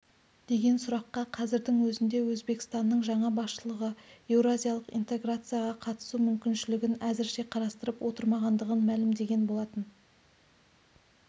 деген сұраққа қазірдің өзінде өзбекстанның жаңа басшылығы еуразиялық интеграцияға қатысу мүмкіншілігін әзірше қарастырып отырмағандығын мәлімдеген болатын